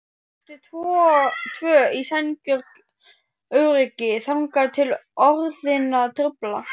Eru tvö í sænguröryggi þangað til orðin trufla.